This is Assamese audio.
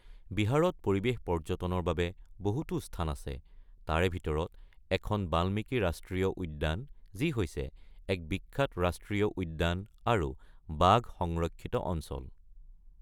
বিহাৰত পৰিৱেশ পৰ্যটনৰ বাবে বহুতো স্থান আছে, তাৰে ভিতৰত এখন বাল্মীকি ৰাষ্ট্ৰীয় উদ্যান, যি হৈছে এক বিখ্যাত ৰাষ্ট্ৰীয় উদ্যান আৰু বাঘ সংৰক্ষিত অঞ্চল।